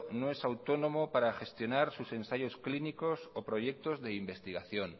no es autónomo para gestionar sus ensayos clínicos o proyectos de investigación